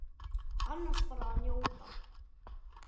Annars bara að njóta.